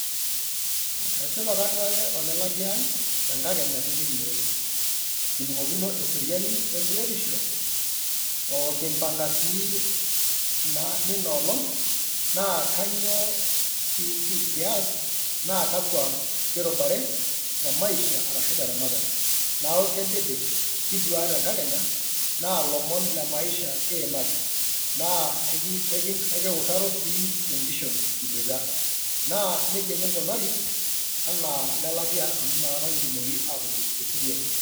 Esipa kaduare ole latia ai tenkakenya tenekinyototo. Kining'okino eseriani wembiotisho oo kimpanga sii nina olong, naa kanyoo kias, naa kakwa kirubare temaisha arashu teramatare. Neaku kedede kidua tenkakenya naa ilomon lemaisha kiimaki, naa kiutaro sii tenkishon kibwoita, naa neija kingunari anaa lelatia amu nakata kitumoki atobik teseriani.